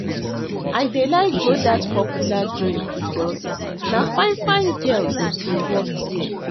I dey like go dat popular joint because na fine-fine girls dey work there.